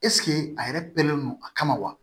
a yɛrɛ pelen don a kama wa